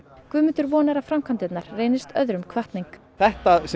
Guðmundur vonar að framkvæmdirnar reynist öðrum hvatning þetta sem